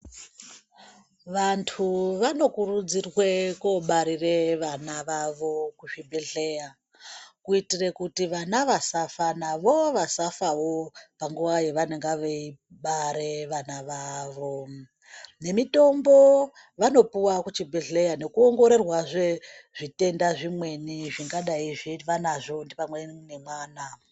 Vantu vanokurudzirwe kobarire vana vavo kuzvibhedhleya. Kuitire kuti vana vasafa navo vasafavo panguva yavanenge veibare vana vavo. Nemitombo vanopuva kuchibhedhlera nekuongororwazve zvitenda zvimweni zvingadai zviva nazvo pamweni nemwana.